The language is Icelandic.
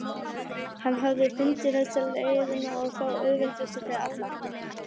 Hann hafði fundið bestu leiðina og þá auðveldustu fyrir alla.